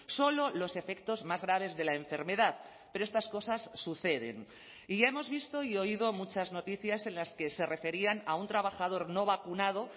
solo los efectos más graves de la enfermedad pero estas cosas suceden y ya hemos visto y oído muchas noticias en las que se referían a un trabajador no vacunado